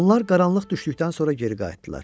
Onlar qaranlıq düşdükdən sonra geri qayıtdılar.